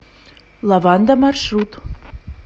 лаванда маршрут